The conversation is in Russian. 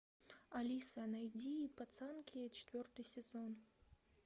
алиса найди пацанки четвертый сезон